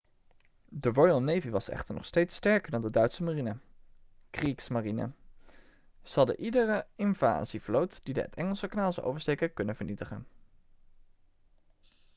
de royal navy was echter nog steeds sterker dan de duitse marine 'kriegsmarine'. ze hadden iedere invasievloot die het engelse kanaal zou oversteken kunnen vernietigen